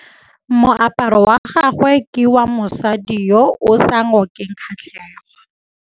Moaparô wa gagwe ke wa mosadi yo o sa ngôkeng kgatlhegô.